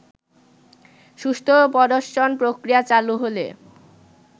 সুষ্ঠু প্রদর্শন-প্রক্রিয়া চালু হলে